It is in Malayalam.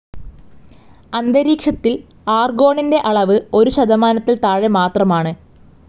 അന്തരീക്ഷത്തിൽ ആർഗോണിന്റെ അളവ് ഒരു ശതമാനത്തിൽ താഴെ മാത്രമാണ്.